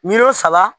Miliyɔn saba